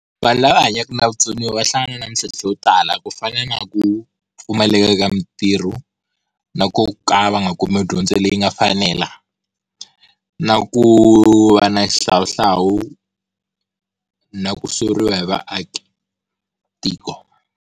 Vanhu lava hanyaka na vutsoniwa va hlangana na mitlhontlho yo tala ku fana na ku, pfumaleka ka mitirho na ku ka va nga kumi dyondzo leyi nga fanela, na ku va na xihlawuhlawu na ku soriwa hi vaakatiko.